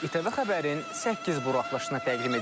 İTV xəbərin səkkiz buraxılışını təqdim edirik.